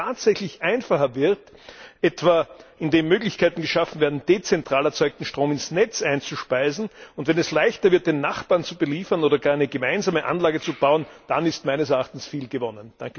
Und wenn es tatsächlich einfacher wird, etwa, indem Möglichkeiten geschaffen werden, dezentral erzeugten Strom ins Netz einzuspeisen, und wenn es leichter wird, den Nachbarn zu beliefern oder gar eine gemeinsame Anlage zu bauen, dann ist meines Erachtens viel gewonnen.